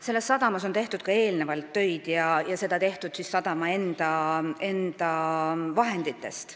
Selles sadamas on tehtud ka eelnevalt töid sadama enda vahenditest.